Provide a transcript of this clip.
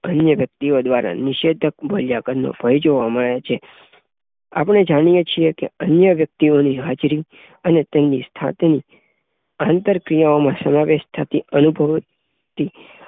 અન્ય વ્યક્તિઓ દ્વારા નિષેધક મૂલ્યાંકનનો ભય જોવા મળે છે આપશે જાણીયે છીએ કે અન્ય વ્યક્તિઓની હાજરી અને તેમની સાથેની આંતરક્રિયા ઓમાં સમાવેશ થતી અનુભવાતી